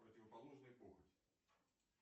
противоположный похоть